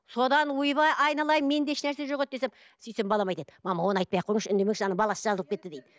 содан ойбай айналайын менде ешнәрсе жоқ еді десем сөйтсем балам айтады мама оны айтпай ақ қойыңызшы үндемеңізші ана баласы жазылып кетті дейді